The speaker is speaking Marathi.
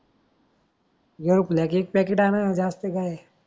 ग्लोबक एक पॅकेट अना ज्यास्त काय आहे.